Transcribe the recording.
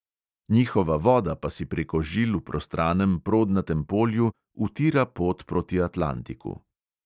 Njihova voda pa si preko žil v prostranem prodnatem polju utira pot proti atlantiku.